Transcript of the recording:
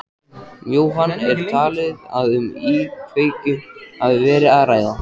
Jóhann, er talið að um íkveikju hafi verið að ræða?